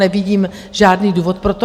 Nevidím žádný důvod pro to.